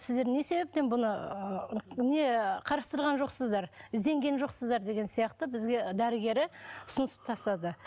сіздер не себептен мұны не қарастырған жоқсыздар ізденген жоқсыздар деген сияқты бізге дәрігері ұсыныс тастады